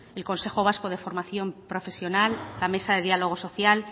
el consejo vasco de formación profesional la mesa de diálogo social